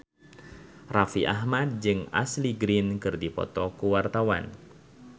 Raffi Ahmad jeung Ashley Greene keur dipoto ku wartawan